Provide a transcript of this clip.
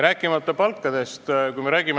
Palkadest ma ei räägigi.